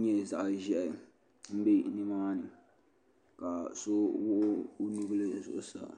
nyɛ zaɣi zɛhi mbɛ ni maa ni ka so wuɣi o nubila zuɣusaa.